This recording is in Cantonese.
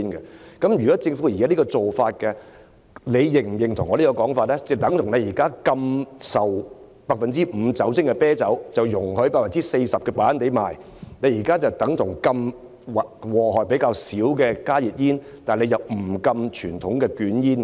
這等於政府現時禁止向18歲以下人士出售 5% 酒精含量的啤酒，卻容許售賣 40% 酒精含量的白蘭地，這等於禁止危害較少的加熱煙，但並不禁止傳統的捲煙。